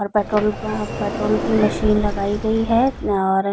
और पेट्रोल अ पेट्रोल की मशीन लगाई गई है और --